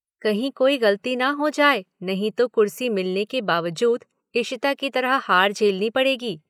कहीं कोई गलती न हो जाए नहीं तो कुर्सी मिलने के बावजूद इशिता की तरह हार झेलनी पड़ेगी।